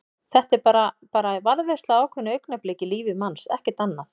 Þetta er bara. bara varðveisla á ákveðnu augnabliki í lífi manns, ekkert annað.